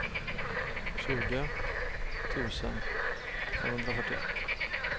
tjugo tusen femhundrafyrtioett